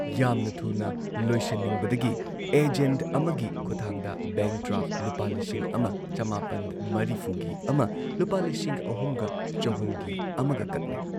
ꯌꯥꯝꯅ ꯊꯨꯅ ꯂꯣꯏꯁꯤꯟꯅꯤꯡꯕꯗꯒꯤ ꯑꯦꯖꯦꯟꯠ ꯑꯃꯒꯤ ꯈꯨꯠꯊꯥꯡꯗ ꯕꯦꯡꯛ ꯗ꯭ꯔꯥꯐ ꯂꯨꯄꯥ ꯂꯤꯁꯤꯡ ꯑꯃ ꯆꯃꯥꯄꯜ ꯃꯔꯤꯐꯨ ꯒꯤ ꯑꯃ ꯂꯨꯄꯥ ꯂꯤꯁꯤꯡ ꯑꯍꯨꯝꯒ ꯆꯍꯨꯝ ꯒꯤ ꯑꯃꯒ ꯀꯛꯂꯦ ꯫